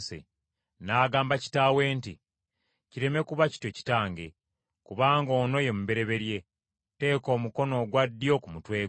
N’agamba kitaawe nti, “Kireme kuba kityo, kitange, kubanga ono ye mubereberye, teeka omukono ogwa ddyo ku mutwe gwe.”